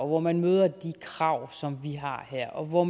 hvor man møder de krav som vi har her og hvor